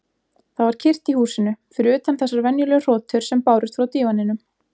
Það var kyrrt í húsinu, fyrir utan þessar venjulegu hrotur sem bárust frá dívaninum.